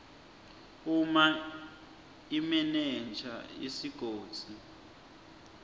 uma imenenja yesigodzi